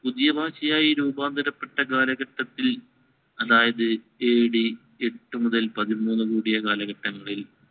പുതിയഭാഷയായി രൂപാന്തരപ്പെട്ട കാലഘട്ടത്തിൽ അതായത് AD എട്ടു മുതൽ പതിമൂന്നുകൂടിയ കാലഘട്ടങ്ങളിൽ